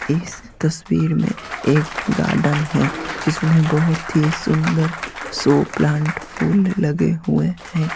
इस तस्वीर में एक गार्डन है जिसमें बहुत ही सुंदर सो प्लांट फूल लगे हुए हैं।